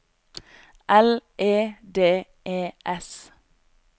L E D E S